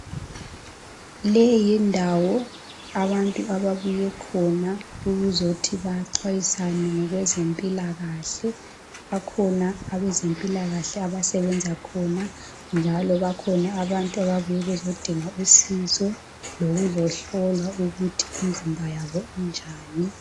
Leyi yindawo abantu ababuye khona ukuzothi baxwayisane ngokwezempilakahle. Bakhona abezempilakahle abasebenza khona njalo bakhona abantu ababuye bezodinga usizo lokuzohlolwa ukuthi imizimba yabo injani.